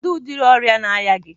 Kedu udiri ọrịa na-arịa gi?